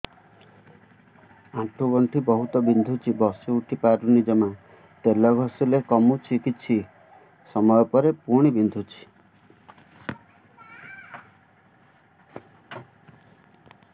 ଆଣ୍ଠୁଗଣ୍ଠି ବହୁତ ବିନ୍ଧୁଛି ବସିଉଠି ପାରୁନି ଜମା ତେଲ ଘଷିଲେ କମୁଛି କିଛି ସମୟ ପରେ ପୁଣି ବିନ୍ଧୁଛି